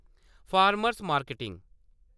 farmer marketing